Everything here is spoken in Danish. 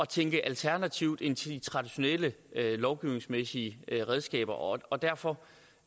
tænke alternativt i forhold til de traditionelle lovgivningsmæssige redskaber og og derfor